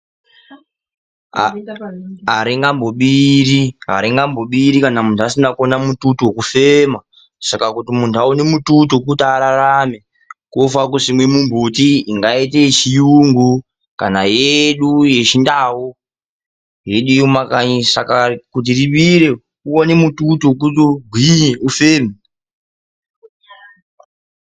Aringambobiri kana munhu asina kuona mututu wekufema. Saka kuti munhu aone mututu wekuti ararame, kunofanire kusimwe mimbuti ingaite yechiyungu kana yedu yeChindau, yedu yemukanyi. Saka kuti ribire uone mututu wekuti ugwinye ufeme.